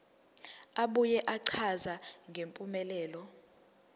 abuye achaze ngempumelelo